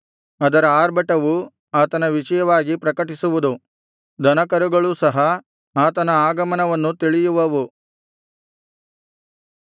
ಅದರ ಆರ್ಭಟವು ಆತನ ವಿಷಯವಾಗಿ ಪ್ರಕಟಿಸುವುದು ದನಕರುಗಳೂ ಸಹ ಆತನ ಆಗಮನವನ್ನು ತಿಳಿಯುವವು